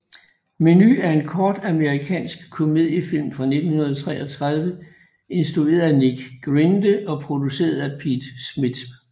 Menu er en kort amerikansk komediefilm fra 1933 instrueret af Nick Grinde og produceret af Pete Smith